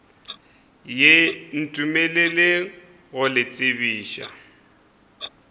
ye ntumeleleng go le tsebiša